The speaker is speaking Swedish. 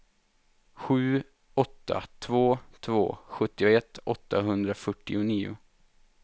sju åtta två två sjuttioett åttahundrafyrtionio